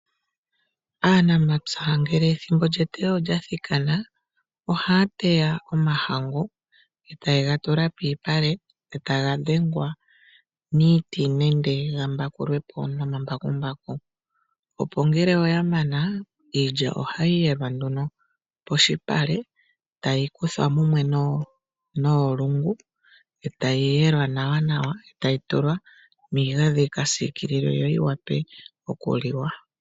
Aanamapya ngele ethimbo lyeteyo olyathikana ohaya teya omahangu, etaye ga tula pomalupale etaga dhengwa niiti nenge gambangulwe po nomambakumbaku. Opo ngele oya mana iilya ohayi yelwa nduno poshipale, tayi kuthwa mumwe noolungu, etayi yelwa nawa nawa etayi tulwa miigandhi yikasiikililwe yo yiwape okuliwa.